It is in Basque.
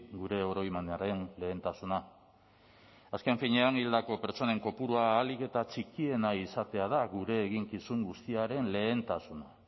gure oroimenaren lehentasuna azken finean hildako pertsonen kopurua ahalik eta txikiena izatea da gure eginkizun guztiaren lehentasuna